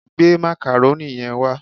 Gbé macaroni yẹn wá